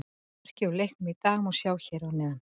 Markið úr leiknum í dag má sjá hér að neðan